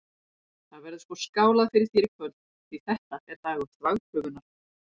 Það verður sko skálað fyrir þér í kvöld, því þetta er dagur þvagprufunnar!